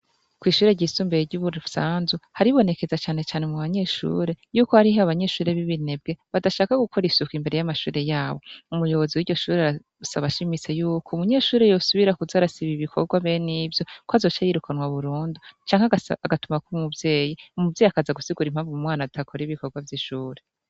Kw'ishure ry'isumbuye ryo muri Rusanzu haribonekeza canecane mub'abanyeshure yuko hari abanyeshure bibinebwe badashaka gukora amasuku imbere yishure ryabo. Umuyobozi wishure arasaba ashimitse yuko umunyeshure yosubira kuza arasiba ibikorwa benivyo ko azoca yirukanwa burundu canke agatumwako umuvyeyi .umuvyeyi akaza gusigura impamvu adakora ibikorwa vy'ishure.